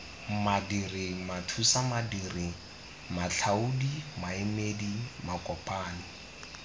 madiri mathusamadiri matlhaodi maemedi makopanyi